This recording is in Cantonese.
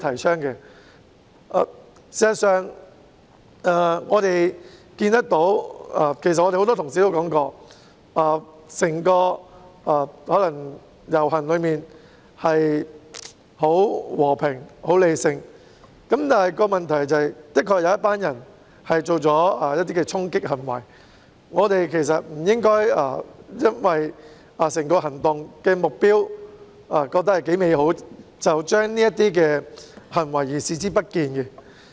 事實上，我們看見——亦有很多同事提及——整個遊行可能很和平理性，但問題是的確有一群人作出衝擊行為，我們不應該基於認為整個行動的目標頗美好，便對這些行為視而不見。